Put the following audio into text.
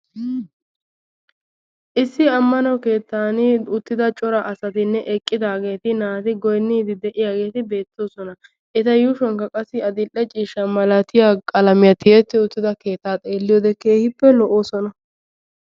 Issi ammano keettan uttida cora asatinne eqqidageeti naati goyyinede de'iyaageeti beettoosona. eta yuushshuwankka qassi issi adl''e ciishshaa qalaamiyaa tiyetti uttida keettaa xeeliyoode keehipe lo''oosona.